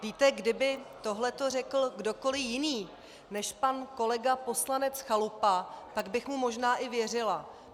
Víte, kdyby tohleto řekl kdokoli jiný než pan kolega poslanec Chalupa, tak bych mu možná i věřila.